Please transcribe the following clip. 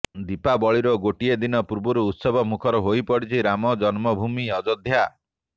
ଦୀପାବଳିର ଗୋଟିଏ ଦିନ ପୂର୍ବରୁ ଉତ୍ସବ ମୁଖର ହୋଇପଡ଼ିଛି ରାମ ଜନ୍ମ ଭୂମି ଅଯୋଧ୍ୟା